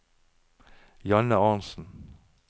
Janne Arntzen